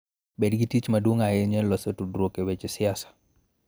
Bed gi tich maduong� ahinya e loso tudruok e weche siasa.